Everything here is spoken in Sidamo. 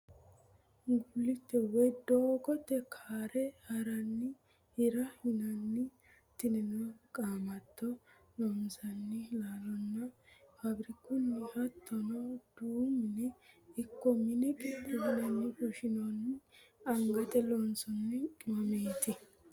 Guliite woyi doogote ka're hiranni hira yinanni tinino qaamato loosinanni laalonna faabirikunni hatono daamu mine ikko mine qixeesine fushinonni angate llonsonni qimamati